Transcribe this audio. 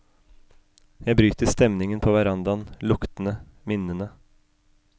Jeg bryter stemningen på verandaen, luktene, minnene.